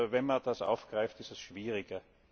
Wenn man das aufgreift, ist es schwieriger.